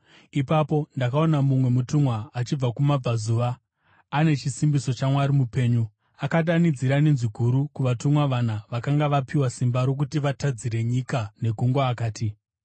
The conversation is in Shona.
Ipapo ndakaona mumwe mutumwa achibva kumabvazuva, ane chisimbiso chaMwari mupenyu. Akadanidzira nenzwi guru kuvatumwa vana vakanga vapiwa simba rokuti vatadzire nyika negungwa akati: